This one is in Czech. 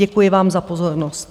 Děkuji vám za pozornost.